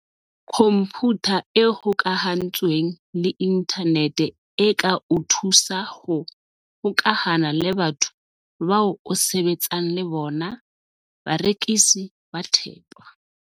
Khomphutha e hokahantsweng le inthanete e ka o thusa ho hokahana le batho bao o sebetsang le bona, barekisi ba thepa.